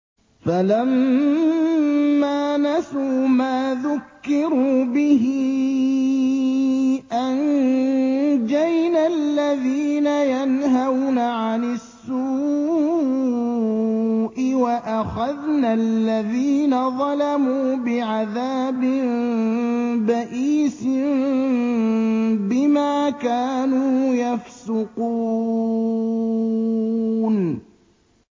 فَلَمَّا نَسُوا مَا ذُكِّرُوا بِهِ أَنجَيْنَا الَّذِينَ يَنْهَوْنَ عَنِ السُّوءِ وَأَخَذْنَا الَّذِينَ ظَلَمُوا بِعَذَابٍ بَئِيسٍ بِمَا كَانُوا يَفْسُقُونَ